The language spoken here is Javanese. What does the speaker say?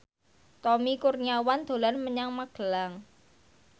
Tommy Kurniawan dolan menyang Magelang